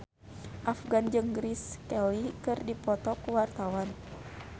Afgan jeung Grace Kelly keur dipoto ku wartawan